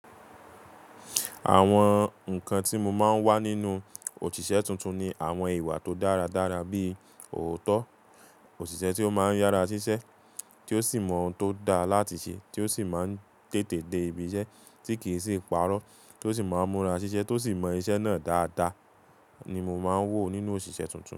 Àwọn nǹkan tí mo máa ń wá nínú òṣìṣẹ́ tuntun ni àwọn ìwà tó dáradára bíi ọ̀ọ́tọ́, òṣìṣẹ́ tí ó máa ń yára ṣiṣẹ́, tí ó sì mọ ohun tó da láti ṣe, tí ó sì máa ń tètè dé ibi iṣẹ́ tí kì í sì pàrọ̀, tó sì máa ń múra ṣiṣẹ́, tó sì mọ iṣẹ́ náà dáadáa ni mo máa ń wò nínú òṣìṣẹ́ tuntun.